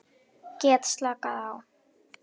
Get slakað á.